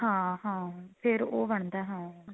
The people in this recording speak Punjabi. ਹਾਂ ਹਾਂ ਫੇਰ ਉਹ ਬਣਦਾ ਹਾਂ